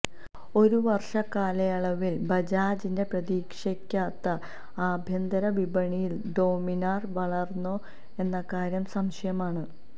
ഒരു വര്ഷ കാലയളവില് ബജാജിന്റെ പ്രതീക്ഷയ്ക്കൊത്ത് ആഭ്യന്തര വിപണിയില് ഡോമിനാര് വളര്ന്നോ എന്ന കാര്യം സംശയമാണ്